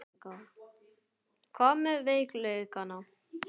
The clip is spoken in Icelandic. Hvað með veikleikana?